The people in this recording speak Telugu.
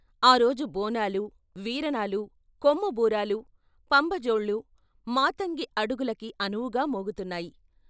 ఆ రోజు బోనాలు, వీరణాలు, కొమ్ముబూరాలు, పంబజోళ్ళు, మాతంగి అడుగులకి అనువుగా మోగు తున్నాయి.